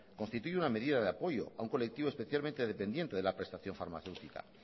constituye una medida de apoyo a un colectivo especialmente dependiente de la prestación farmacéutica